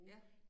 Ja